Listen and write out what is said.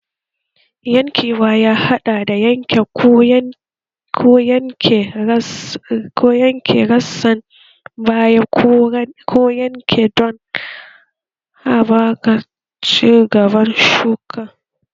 Yankewa ya haɗa da yanke ko yanke rassan baya ko ganye don haɓaka ci gaban shuka